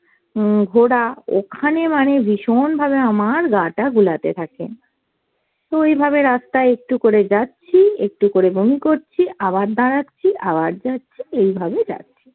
উম ঘোরা ওখানে মানে ভীষণভাবে আমার গা টা গোলাতে থাকে। তো এইভাবে রাস্তাই একটু করে যাচ্ছি একটু করে বমি করছি, আবার দাঁড়াচ্ছি আবার যাচ্ছি এইভাবেই যাচ্ছি।